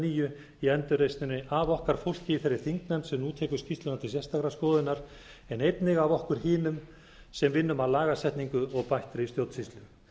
nýju í endurreisninni af okkar fólki í þeirri þingnefnd sem nú tekur skýrsluna til sérstakrar skoðunar en einnig af okkur hinum sem vinnum af lagasetningu og bættri stjórnsýslu